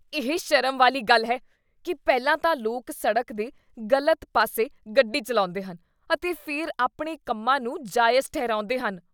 ਇਹ ਸ਼ਰਮ ਵਾਲੀ ਗੱਲ ਹੈ ਕੀ ਪਹਿਲਾਂ ਤਾਂ ਲੋਕ ਸੜਕ ਦੇ ਗਲਤ ਪਾਸੇ ਗੱਡੀ ਚੱਲਾਉਂਦੇ ਹਨ ਅਤੇ ਫਿਰ ਆਪਣੇ ਕੰਮਾਂ ਨੂੰ ਜਾਇਜ਼ ਠਹਿਰਾਉਂਦੇ ਹਨ।